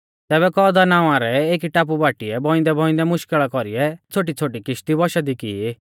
तैबै कौदा नावां रै एकी टापु बाटीऐ बौइंदैबौइंदै मुश्कल़ा कौरीऐ छ़ोटीछ़ोटी किश्ती वंशा दी की